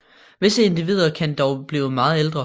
Visse individer kan dog blive meget ældre